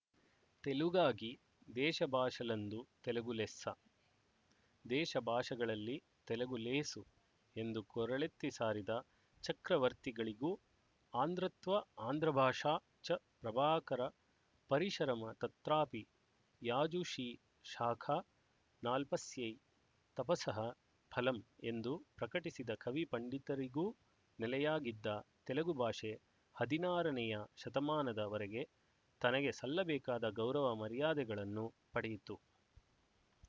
ತೆಲುಗಾಗಿ ದೇಶಭಾಶಲಂದು ತೆಲುಗು ಲೆಸ್ಸ ದೇಶ ಭಾಷೆಗಳಲ್ಲಿ ತೆಲುಗು ಲೇಸು ಎಂದು ಕೊರಳೆತ್ತಿ ಸಾರಿದ ಚಕ್ರವರ್ತಿಗಳಿಗೂ ಆಂಧ್ರತ್ವ ಆಂಧ್ರಭಾಷಾ ಚ ಪ್ರಾಭಾಕರ ಪರಿಶರಮ ತತ್ರಾಪಿ ಯಾಜುಶೀ ಶಾಖಾ ನಾಲ್ಪಸ್ಯ ತಪಸಃ ಫಲಮ್ ಎಂದು ಪ್ರಕಟಿಸಿದ ಕವಿ ಪಂಡಿತರಿಗೂ ನೆಲೆಯಾಗಿದ್ದ ತೆಲುಗು ಭಾಷೆ ಹದಿನಾರನೆಯ ಶತಮಾನದ ವರೆಗೆ ತನಗೆ ಸಲ್ಲಬೇಕಾದ ಗೌರವ ಮರ್ಯಾದೆಗಳನ್ನು ಪಡೆಯಿತು